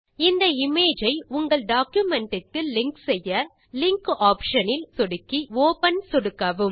இந்த இமேஜ் ஐ உங்கள் டாக்குமென்ட் க்கு லிங்க் செய்ய லிங்காப்ஷன் இல் ஒப்பன் சொடுக்கவும்